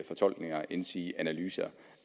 fortolkninger endsige analyser